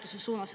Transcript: Teie aeg!